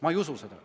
Ma ei usu seda.